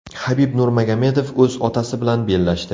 Habib Nurmagomedov o‘z otasi bilan bellashdi .